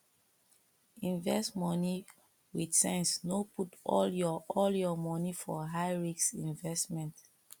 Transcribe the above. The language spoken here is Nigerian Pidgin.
invest money with sense no put all your all your money for high risk investment